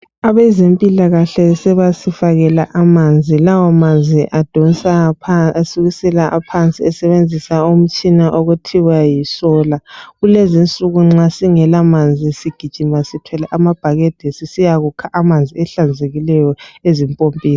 Abezempilakahle sebasifakela amanzi lawo manzi adonsa asukisela phansi esebenzisa umtshina okuthiwa yisola kulezinsuku nxa singela manzi sigijima sithwele amabhakede sisiya kukha manzi ahlanzekileyo ezimpompini.